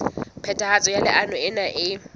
phethahatso ya leano lena e